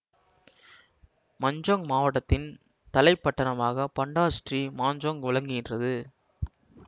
Manjung மாவட்டத்தின் தலை பட்டணமாகப் பண்டார் ஸ்ரீ மாஞ்சோங் விளங்குகின்றது